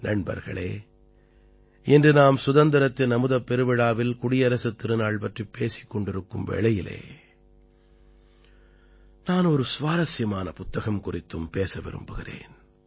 நண்பர்களே இன்று நாம் சுதந்திரத்தின் அமுதப் பெருவிழாவில் குடியரசுத் திருநாள் பற்றிப் பேசிக் கொண்டிருக்கும் வேளையில் நான் ஒரு சுவாரசியமான புத்தகம் குறித்தும் பேச விரும்புகிறேன்